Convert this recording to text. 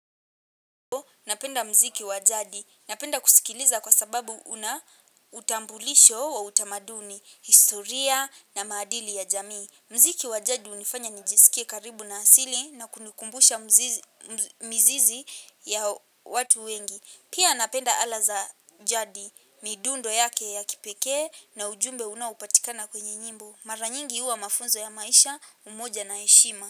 Napenda mziki wa jadi. Napenda kusikiliza kwa sababu una utambulisho wa utamaduni, historia na maadili ya jamii. Mziki wa jadi hunifanya nijisikie karibu na asili na kunikumbusha mizizi ya watu wengi. Pia napenda ala za jadi, midundo yake ya kipekee na ujumbe unaopatikana kwenye nyimbo. Mara nyingi huwa mafunzo ya maisha umoja na heshima.